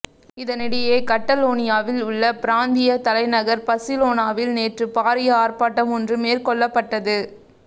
இதனிடையே கட்டலோனியாவில் உள்ள பிராந்திய தலைநகர் பசிலோனாவில் நேற்று பாரிய ஆர்ப்பாட்டம் ஒன்று மேற்கொள்ளப்பட்டது